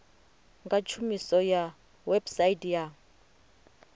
nga tshumiso ya website ya